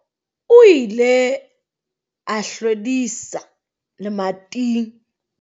O ile a hlwedisa lemating.